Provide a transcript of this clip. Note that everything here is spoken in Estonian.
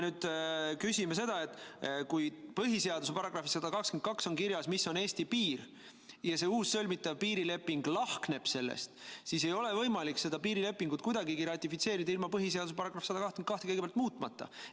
Põhiseaduse §-s 122 on kirjas, mis on Eesti piir, ja kui see uus, sõlmitav piirileping lahkneb sellest, siis ei ole võimalik seda piirilepingut kuidagi ratifitseerida ilma põhiseaduse § 122 muutmata.